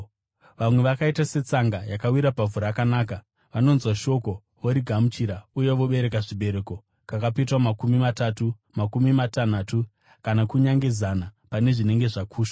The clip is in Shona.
Vamwe vakaita setsanga yakawira pavhu rakanaka, vanonzwa shoko, vorigamuchira, uye vobereka zvibereko, kakapetwa makumi matatu, makumi matanhatu kana kunyange zana pane zvinenge zvakushwa.”